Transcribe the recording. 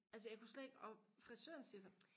altså jeg kunne slet ikke og frisøren siger så